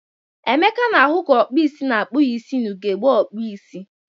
Emeka na-ahụ ka ọkpụisi na-akpụ ya isi na ugegbe okpuisi.